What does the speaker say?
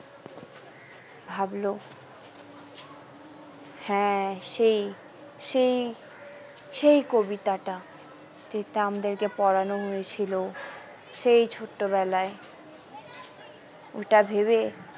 ভাবলো হ্যাঁ সেই সেই সেই কবিতাটা যেটা আমাদেরকে পোড়ানো হয়েছিল সেই ছোট্ট বেলায় ওটা ভেবে।